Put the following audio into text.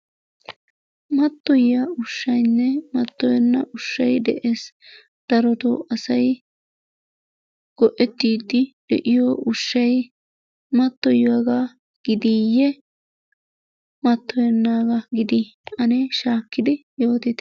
Mattoyiyaa ushshaynne mattoyenna ushshay de'ees. Darotto asay go'ettidi de'iyoo ushshay mattoyiyagga gidiye mattoyennagga gidi? Anne shaakidi yoottitte.